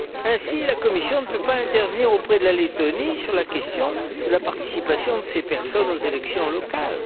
Ainsi, la Commission ne peut pas intervenir auprès de la Lettonie sur la question de la participation de ces personnes aux élections locales.